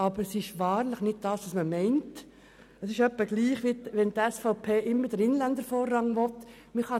Dies entspricht aber wahrlich nicht der Schaffung von Arbeitsplätzen und ist in etwa damit zu vergleichen, worauf die SVP mit dem Inländervorrang abzielt.